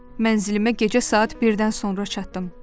Mənzilimə gecə saat 1-dən sonra çatdım.